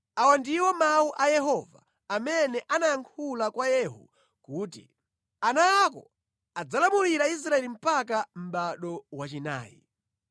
Awa ndiwo mawu a Yehova amene anayankhula kwa Yehu kuti, “Ana ako adzalamulira Israeli mpaka mʼbado wachinayi.”